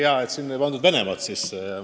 Hea, et täna Venemaad sisse ei toodud.